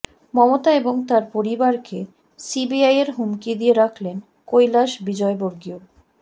মমতা এবং তাঁর পরিবারকে সিবিআইয়ের হুমকি দিয়ে রাখলেন কৈলাস বিজয়বর্গীয়